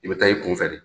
I bɛ taa i kunfɛ de